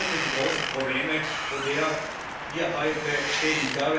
Was sind wirklich die großen Probleme, vor denen wir heute stehen?